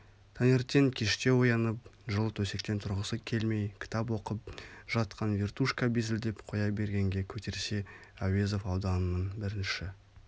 таңертең кештеу оянып жылы төсектен тұрғысы келмей кітап оқып жатқан вертушка безілдеп қоя бергенге көтерсе әуезов ауданының бірінші